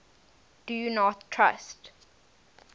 do not trust